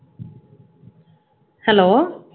hello